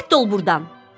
Rədd ol burdan.